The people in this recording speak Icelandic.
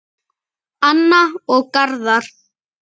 Anna og Garðar.